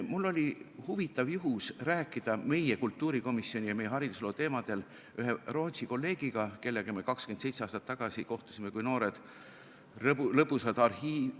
Mul oli huvitav juhtum rääkida meie kultuurikomisjoni ja meie haridusloo teemadel ühe Rootsi kolleegiga, kellega me 27 aastat tagasi kohtusime kui noored lõbusad arhiivi-...